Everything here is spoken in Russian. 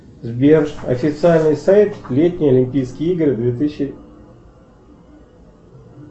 сбер официальный сайт летние олимпийские игры две тысячи